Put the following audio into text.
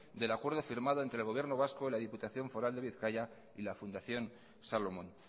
del acuerdo firmado entre el gobierno vasco la diputación foral de bizkaia y la fundación salomon